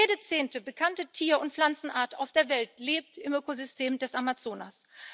Jede zehnte bekannte Tier und Pflanzenart auf der Welt lebt im Ökosystem des Amazonas.